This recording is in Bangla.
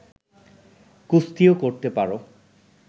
কুস্তিও করতে পার